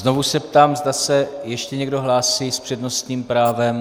Znovu se ptám, zda se ještě někdo hlásí s přednostním právem.